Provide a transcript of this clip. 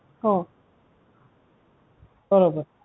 हो बरोबर